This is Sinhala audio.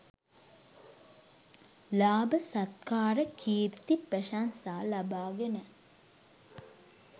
ලාභ සත්කාර කීර්ති ප්‍රශංසා ලබාගෙන